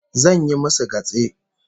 Zan yi musu gatse